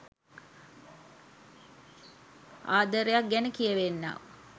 ආදරයක් ගැන කියවෙන්නක්.